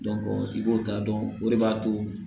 i b'o ta dɔrɔn o de b'a to